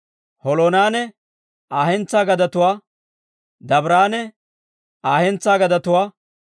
Holoonanne Aa hentsaa gadetuwaa, Dabiiranne Aa hentsaa gadetuwaa,